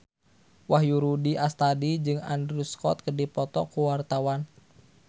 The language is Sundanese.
Wahyu Rudi Astadi jeung Andrew Scott keur dipoto ku wartawan